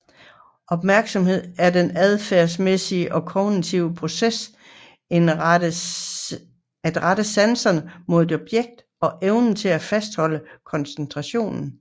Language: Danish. Opmærksomhed er den adfærdsmæssige og kognitive proces at rette sanserne mod et objekt og evnen til at fastholde koncentrationen